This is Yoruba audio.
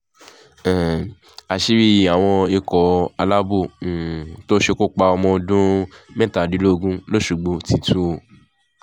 um àṣírí àwọn ikọ̀ aláàbò um tó ṣekú pa ọmọ ọdún mẹ́tàdínlógún lọ́ṣọ́gbó ti tú o